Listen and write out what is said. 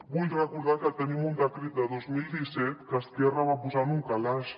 vull recordar que tenim un decret de dos mil disset que esquerra va posar en un calaix